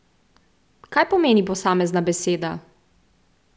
Kaj pomeni posamezna beseda?